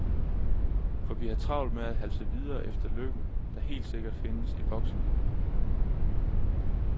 For vi har travlt med at halse videre efter lykken, der helt sikkert findes i voksenlivet.